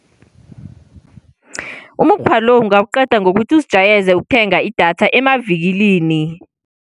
Umukghwa lo ungaqedwa ngokuthi uzijwayeze ukuthenga idatha emavikilini.